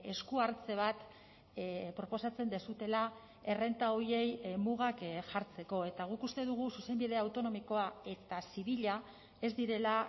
esku hartze bat proposatzen duzuela errenta horiei mugak jartzeko eta guk uste dugu zuzenbide autonomikoa eta zibila ez direla